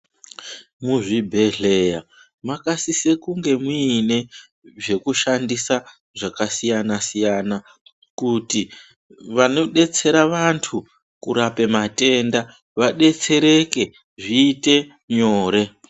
Muzvibhedhleya makasise kunge muine kushandisa zvakasiyana-siyana. Kuti vanobetsera vantu kurape matenda vabetsereke zviite nyore.